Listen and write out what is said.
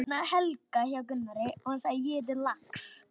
Allir voru í fínum fötum.